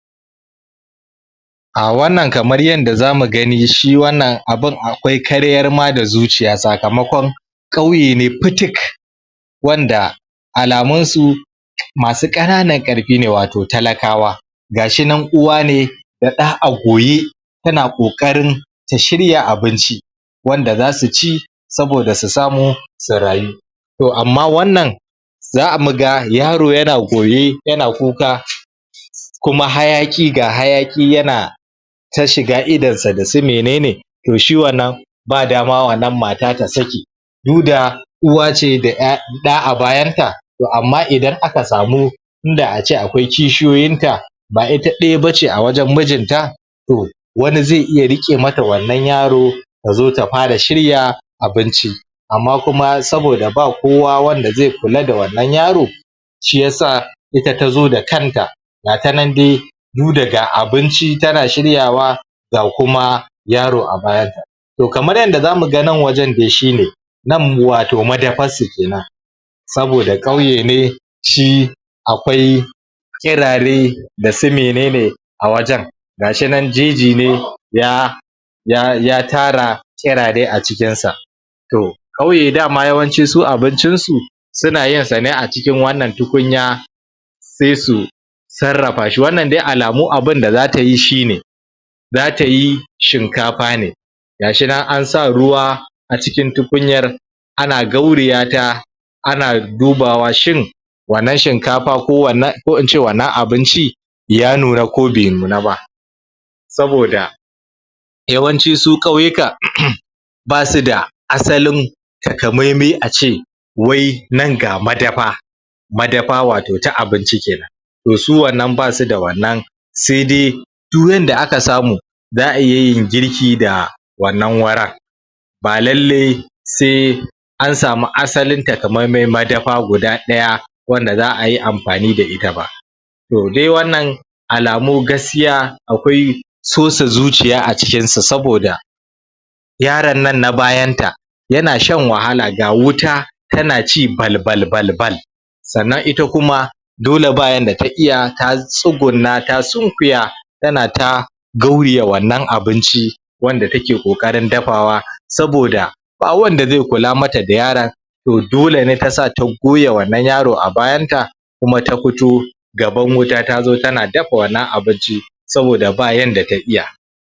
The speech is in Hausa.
Ah wannan kamar yanda zamu gani shi wannan abun akwai karyar ma da zuciya sakamakon ƙauye ne futuk wanda alamun su masu ƙana nan ƙarfi ne wato talakawa gashi nan uwa ne da ɗa a goye suna ƙoƙarin ta shirya abinci wanda zasu ci saboda su samu su rayu toh amma wannan zamu ga yaro yana goye yana kuka kuma hayaƙi ga hayaƙi yana ta shiga idonsa dasu menene toh shi wannan ba dama wannan mata ta saki duk da uwace da ƴa ɗa a bayanta toh amma idan aka samu inda ace akwai kishiyoyin ta ba ita ɗaya bace a wajen mijinta toh wani zai iya riƙe mata wannan yaro ta zo ta fara shirya abinci amma kuma saboda ba kowa wanda zai kula da wannan yaro shiyasa ita tazo da kanta gata nan dai duk da ga abinci tana shiryawa ga kuma yaro a bayan ta toh kamar yanda zamu ga nan wajen dai shi ne nan wato madafarsu kenan saboda ƙauye ne shi akwai ƙirare dasu menene a wajen gashi nan jeji ne yaa ya ya tara ƙirare acikin sa toh ƙauye yawanci dama su abincin su suna yinsa ne acikin wannan tukunya sai su sarrafa shi, wannan dai alamu abunda zata yi shi ne zata yi shinkafa ne gashi nan ansa ruwa acikin tukunyar ana gauriya ta ana dubawa shin wannan shinkafa ko wannan ko ince wannan abinci ya nuna ko bai nuna ba saboda yawanci su ƙauyuka basu da asalin takamaimi a ce wai nan ga madafa madafa wato ta abinci kenan toh su wannan basu da wannan sai dai du yanda aka samu za'a iya yin girki da wannan wurin ba lallai sai an samu asalin takamaimai madafa guda ɗaya wanda za'a yi amfani da ita ba toh dai wannan alamu gaskiya akwai sosa zuciya a cikinsa saboda yaron nan na bayan ta yana shan wahala ga wuta tana ci bal bal bal sannan ita kuma dole ba yanda ta iya ta tsugunna ta sunkuya tana ta gauyiya wannan abinci wanda take ƙoƙarin dafawa saboda ba wanda zai kula mata da yaron toh dole ta sa goya wannan yaro a bayanta kuma ta fito gaban wuta tazo tana dafa wannan abinci saboda ba yanda ta iya